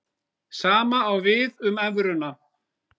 Sama á við um evruna.